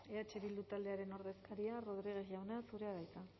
eh bildu taldearen ordezkaria rodriguez jauna zurea da hitza